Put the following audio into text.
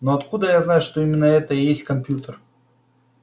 но откуда я знаю что именно это и есть компьютер